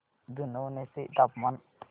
जुनवणे चे तापमान